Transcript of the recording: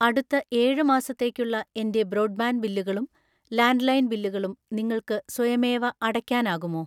അടുത്ത ഏഴ് മാസത്തേക്കുള്ള എൻ്റെ ബ്രോഡ്ബാൻഡ് ബില്ലുകളും ലാൻഡ്‌ലൈൻ ബില്ലുകളും നിങ്ങൾക്ക് സ്വയമേവ അടയ്ക്കാനാകുമോ?